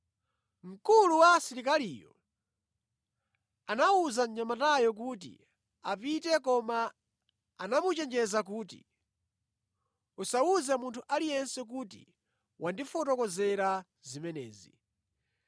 Mkulu wa asilikaliyo anawuza mnyamatayo kuti apite koma anamuchenjeza kuti, “Usawuze munthu aliyense kuti wandifotokozera zimenezi.”